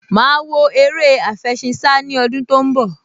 Màá wo eré àfẹṣinsá ní ọdún tó ń bọ̀